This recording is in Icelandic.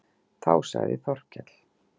Þá sagði Þórkell